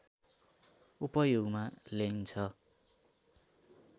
उपयोगमा ल्याइन्छ